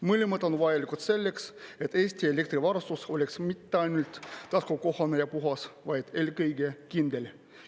Mõlemad on vajalikud selleks, et Eesti elektrivarustus oleks mitte ainult taskukohane ja puhas, vaid eelkõige kindel.